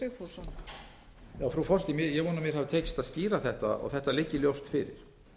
frú forseti ég vona að mér hafi tekist að skýra þetta og þetta liggi ljóst fyrir